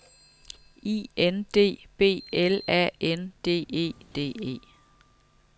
I N D B L A N D E D E